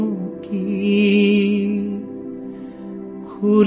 झोले में भला क्या है